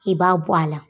I b'a bɔ a la